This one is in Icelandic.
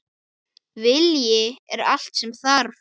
Vilji er allt sem þarf.